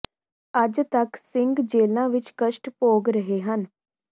ਅੱਜ ਤੱਕ ਸਿੰੰਘ ਜੇਲ਼੍ਹਾ ਵਿੱਚ ਕਸ਼ਟ ਭੋਗ ਰਹੇ ਹਨ